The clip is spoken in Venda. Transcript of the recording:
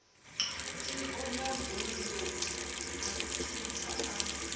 tsiko mabundu a khentsa a